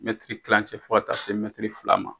Mɛtiri kilancɛ fɔ ka taa se mɛtiri fila ma.